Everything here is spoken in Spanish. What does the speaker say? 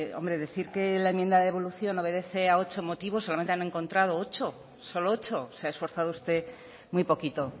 hombre decir que la enmienda de evolución obedece a ocho motivos solamente han encontrado ocho se ha esforzado usted muy poquito